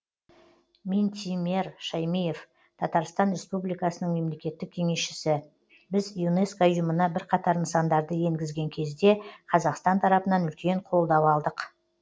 минтимер шаймиев татарстан республикасының мемлекеттік кеңесшісі біз юнеско ұйымына бірқатар нысандарды енгізген кезде қазақстан тарапынан үлкен қолдау алдық